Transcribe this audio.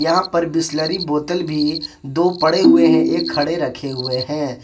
यहां पर बिसलेरी बोतल भी दो पड़े हुए हैं एक खड़े रखे हुए हैं।